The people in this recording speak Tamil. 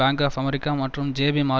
அமெரிக்கா மற்றும் ஜேபி மோர்கன் சாக்ஸ் ஆகியவை